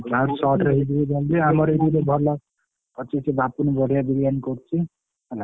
ଭଲ ଅଛି ଏଠି ବାପୁନୀ ବଡିଆ ବିରିୟାନି କରୁଛି ହେଲା।